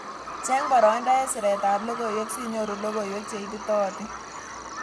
Cheng boroindo eng siret ab logoiwek sinyoru logoiwek cheititootin.